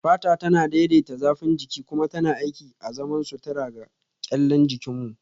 Fata tana daidaita zafin jiki kuma tana aiki azaman sutura ga kyallen jikin mu